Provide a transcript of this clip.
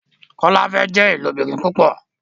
Kola fè jé ilobìrin púpò